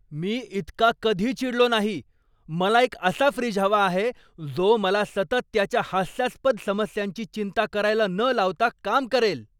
मी इतका कधी चिडलो नाही. मला एक असा फ्रीज हवा आहे, जो मला सतत त्याच्या हास्यास्पद समस्यांची चिंता करायला न लावता काम करेल!